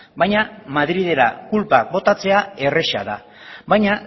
baina madrilera kulpa botatzera erraza da baina